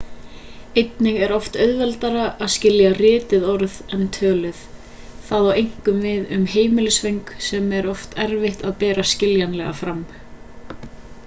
einnig er oft auðveldara að skilja rituð orð en töluð það á einkum við um heimilisföng sem er oft erfitt að bera skiljanlega fram